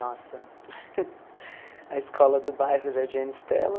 Nossa, a escola do bairro Jardim Ana Estela.